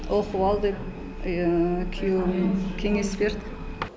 оқып ал деп күйеуім кеңес берді